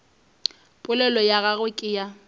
polelo ya gagwe ke ya